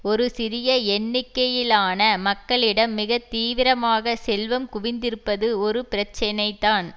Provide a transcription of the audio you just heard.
ஒரு சிறிய எண்ணிக்கையிலான மக்களிடம் மிக தீவிரமாக செல்வம் குவிந்திருப்பது ஒரு பிரச்சினைதான்